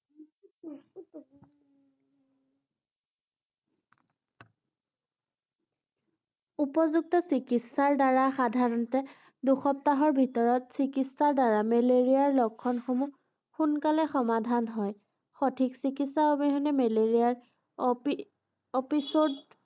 উপযুক্ত চিকিৎসাৰ দ্বাৰা সাধাৰণতে দুসপ্তাহৰ ভিতৰত চিকিৎসাৰ দ্বাৰা মেলেৰিয়াৰ লক্ষণসমূহ সোনকালে সমাধান হয় ৷ সঠিক চিকিৎসাৰ অবিহনে মেলেৰিয়াৰ .